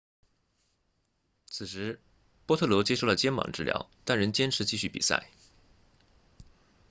此时波特罗接受了肩膀治疗但仍坚持继续比赛